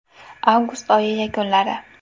Avgust oyi yakunlari.